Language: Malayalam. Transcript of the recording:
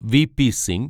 V P Singh